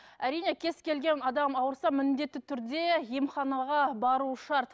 әрине кез келген адам ауырса міндетті түрде емханаға баруы шарт